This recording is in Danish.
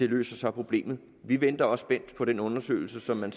løser problemet vi venter også spændt på den undersøgelse som man